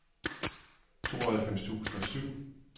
tooghalvfems tusind og syv